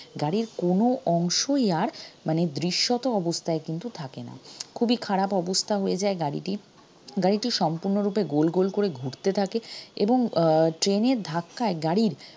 গাড়ির কোনো অংশই আর মানে দৃশ্যত অবস্থায় কিন্তু থাকেনা খুবই খারাপ অবস্থা হয়ে যায় গাড়িটির গাড়িটি সম্পূর্ণরূপে গোল গোল করে ঘুরতে থাকে এবং আহ train এর ধাক্কায় গাড়ির